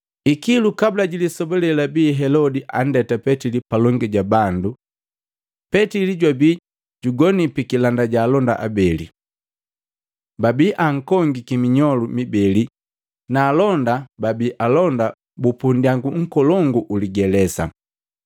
Ikilu, kabula jilisoba lelabi Helodi andeta Petili palongi ja bandu, Petili jwabi jugoni pikilanda ja alonda abeli. Babi ankongiki minyolu mibeli na alonda babi alonda bupu ndyangu nkolongu uli ligelesa.